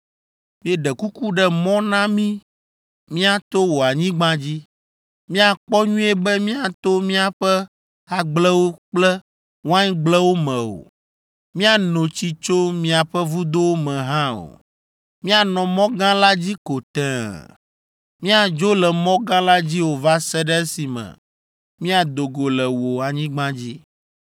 Míeɖe kuku ɖe mɔ na mí míato wò anyigba dzi. Míakpɔ nyuie be míato miaƒe agblewo kple waingblewo me o. Míano tsi tso miaƒe vudowo me hã o. Míanɔ mɔ gã la dzi ko tẽe. Míadzo le mɔ gã la dzi o va se ɖe esime míado go le wò anyigba dzi.”